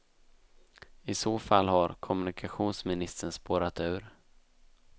I så fall har kommunikationsministern spårat ur.